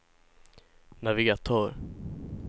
navigatör